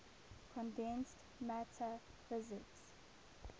condensed matter physics